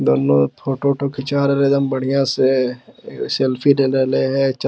दोनों फोटो उठो खींचा रहलै हे एकदम बढ़िया से | एगो सेल्फी ले रहे हे च --